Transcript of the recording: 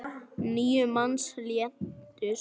Níu manns létust.